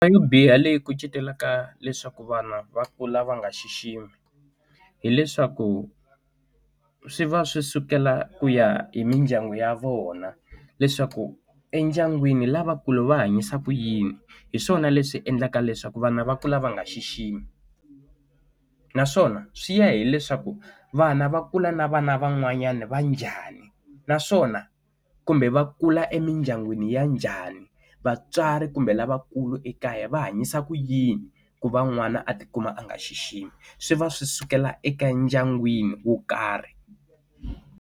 Ndzi nga biha leyi kucetelaka leswaku vana va kula va nga xiximi hileswaku swi va swi sukela ku ya hi mindyangu ya vona leswaku endyangwini lavakulu va hanyisa ku yini hi swona leswi endlaka leswaku vana va kula va nga xiximi naswona swi ya hileswaku vana va kula na vana van'wanyana va njhani naswona kumbe va kula emindyangwini ya njhani vatswari kumbe lavakulu ekaya va hanyisa ku yini ku va n'wana a tikuma a nga xiximi swi va swi sukela eka ndyangwini wo karhi.